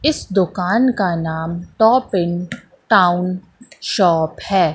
इस दुकान का नाम टॉपिन टाउन शॉप है।